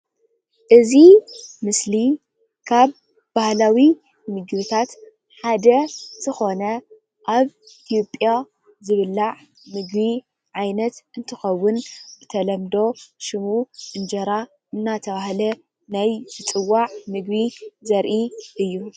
እዚ ምስሊ ካብ ባህላዊ ምግብታት ሓደ ዝኾነ ኣብ ኢ/ያ ዝብላዕ ምግቢ ዓይነት እንትኸውን ብተለምዶ ሽሙ እንጀራ እንዳተባሃለ ናይ ዝፅዋዕ ምግቢ ዘርኢ እዩ።